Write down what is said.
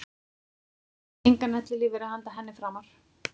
Engan ellilífeyri handa henni framar.